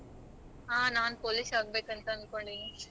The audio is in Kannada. ಹ ನಾನ್ police ಆಗ್ಬೇಕು ಅಂತ ಅನ್ಕೊಂಡಿದೀನಿ.